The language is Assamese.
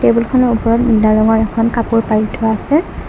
টেবুলখনৰ ওপৰত নীলা ৰঙৰ এখন কাপোৰ পাৰি থোৱা আছে।